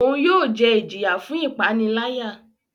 Oun yóò jẹ ijiya fun ipanilaya.